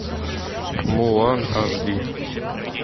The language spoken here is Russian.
мулан аш ди